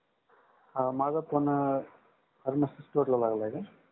हा माझा phone Farmacy store ला लागला आहे का?